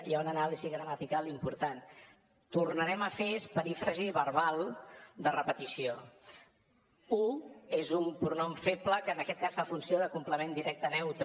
hi ha una anàlisi gramatical important tornarem a fer és perífrasi verbal de repetició ho és un pronom feble que en aquest cas fa funció de complement directe neutre